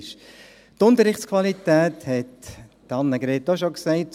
Die Unterrichtsqualität hat Annegret Hebeisen auch bereits angetönt: